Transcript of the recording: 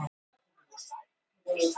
Við skýrum það nú nánar.